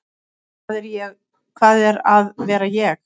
Hvað er að vera ég?